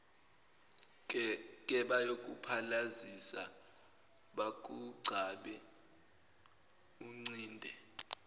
kebayokuphalazisa bakugcabe uncinde